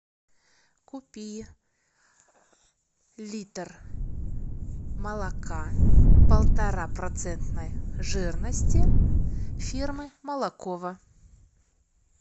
купи литр молока полтора процентной жирности фирмы молоково